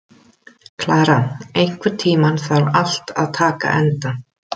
Klara, einhvern tímann þarf allt að taka enda.